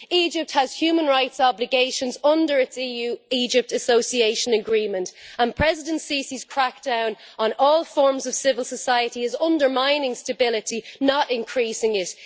Egypt has human rights obligations under its EU Egypt Association Agreement and President Sisi's crack down on all forms of civil society is undermining stability not increasing it.